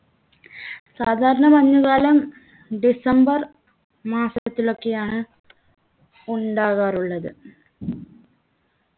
ഏർ സാധാരണ മഞ്ഞുകാലം ഡിസംബർ മാസത്തിലൊക്കെയാണ് ഉണ്ടാകാറുള്ളത്